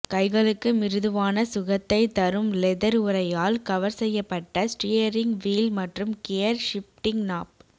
கைகளுக்கு மிருதுவான சுகத்தை தரும் லெதர் உறையால் கவர் செய்யப்பட்ட ஸ்டீயரிங் வீல் மற்றும் கியர் ஷிப்டிங் நாப்